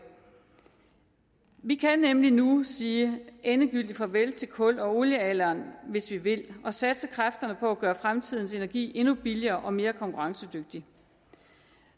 vi kan nemlig nu sige endegyldigt farvel til kul og oliealderen hvis vi vil og satse kræfterne på at gøre fremtidens energi endnu billigere og mere konkurrencedygtig